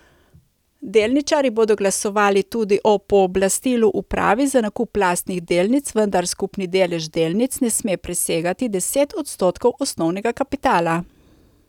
Delničarji bodo glasovali tudi o pooblastilu upravi za nakup lastnih delnic, vendar skupni delež delnic ne sme presegati deset odstotkov osnovnega kapitala.